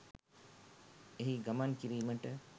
එහි ගමන් කිරීමට